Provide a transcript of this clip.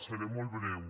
seré molt breu